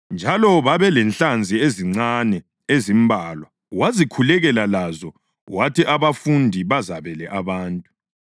Njalo babelenhlanzi ezincane ezimbalwa, wazikhulekela lazo wathi abafundi bazabele abantu.